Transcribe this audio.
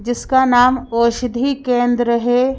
जिसका नाम औषधि केंद्र है।